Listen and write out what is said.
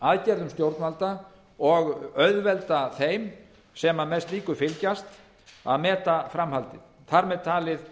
aðgerðum stjórnvalda og auðvelda þeim sem með slíku fylgjast að meta framhaldið þar með talið